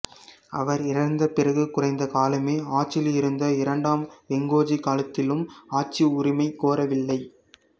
அவர் இறந்த பிறகு குறைந்த காலமே ஆட்சியில் இருந்த இரண்டாம் வெங்கோஜி காலத்திலும் ஆட்சி உரிமை கோரவில்லை